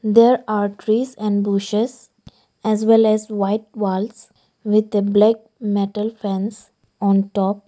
There are trees and bushes as well as white walls with a black metal fans on top.